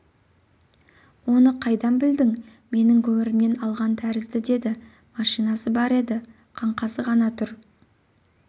оны қайдан білдің менің көмірімнен алған тәрізді деді машинасы бар еді қаңқасы ғана тұр